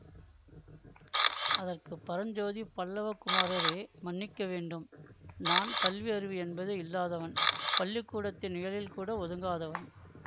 அதற்கு பரஞ்சோதி பல்லவ குமாரரே மன்னிக்க வேண்டும் நான் கல்வி அறிவு என்பதே இல்லாதவன் பள்ளி கூடத்தின் நிழலில்கூட ஒதுங்காதவன்